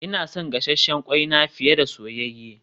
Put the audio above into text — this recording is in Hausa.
Ina son gasasshen kwai na fiye da soyayye